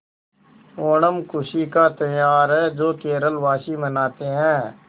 ओणम खुशी का त्यौहार है जो केरल वासी मनाते हैं